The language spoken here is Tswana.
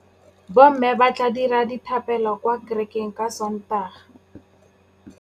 Bommê ba tla dira dithapêlô kwa kerekeng ka Sontaga.